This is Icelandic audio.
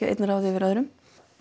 að einn ráði yfir öðrum